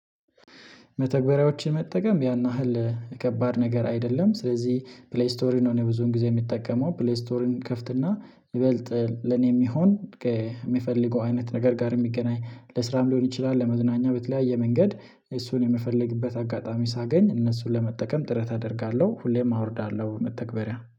መተግበሪያዎችን መጠቀም ያን ያህል ከባድ ነገር አይደለም። ስለዚህ ፕሌይ ስቶሪን ሆነ ብዙን ጊዜ የሚጠቀመው ፕሌይ ስቶሪን ከፍትና ይበልጥ ለኔም ይሁን የምፈልገው አይነት ነገር ጋር የሚገናኝ ለስራም ሊሆን ይችላል ለመዝናኛ በተለያየ መንገድ እሱን የምፈልግበት አጋጣሚ ሳገኝ እነሱን ለመጠቀም ጥረት አደርጋለሁ። ሁሌም አወርዳለሁ መተግበሪያ